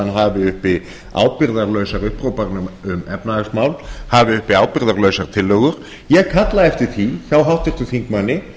hafi uppi ábyrgðarlausar upphrópanir um efnahagsmál hafi uppi ábyrgðarlausar tillögur ég kalla eftir því hjá háttvirtum þingmanni